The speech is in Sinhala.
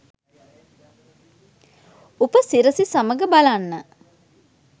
උපසිරසි සමග බලන්න.